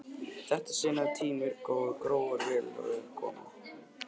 Í þetta sinn hafði tíðin verið góð og gróður vel á veg kominn.